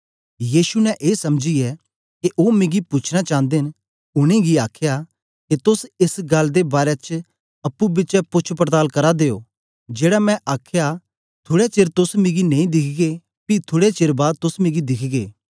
यीशु ने ए समझीयै के ओ मिगी पूछना चांदे न उनेंगी आखया के तोस एस गल्ल दे बारै च अप्पुं पिछें पोछपड़ताल करा दे ओ जेड़ा मैं आखया थुड़े चेर च तोस मिगी नेई दिखगे पी थुड़े चेर बाद तोस मिगी दिखगे